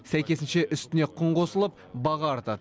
сәйкесінше үстіне құн қосылып баға артады